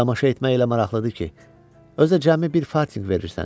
Tamaşa etmək elə maraqlıdır ki, özü də cəmi bir fartinq verirsən.